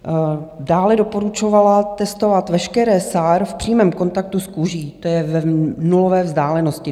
Dále doporučovala testovat veškeré SAR v přímém kontaktu s kůží, to je v nulové vzdálenosti.